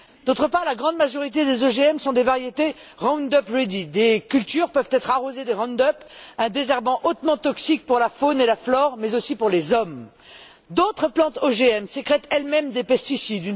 D'autre part, la grande majorité des OGM sont des variétés Roundup Ready. Des cultures peuvent êtres arrosées de Roundup, un désherbant hautement toxique pour la faune et la flore mais aussi pour les hommes. D'autres plantes OGM sécrètent elles mêmes des pesticides.